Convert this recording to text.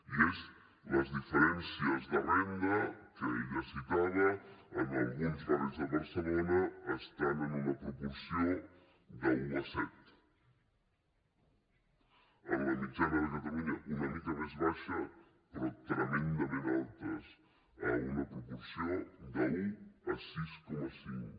i son les diferències de renda que ella citava en alguns barris de barcelona estan en una proporció d’un a set en la mitjana de catalunya una mica més baixa però tremendament altes en una proporció d’un a sis coma cinc